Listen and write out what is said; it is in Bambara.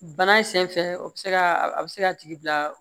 Bana sen fɛ o bɛ se ka a bɛ se ka tigi bila